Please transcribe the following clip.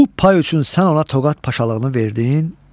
Bu pay üçün sən ona Toqat Paşalığını verdin,